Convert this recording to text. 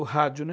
O rádio, né?